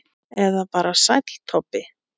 Eða bara Sæll Tobbi?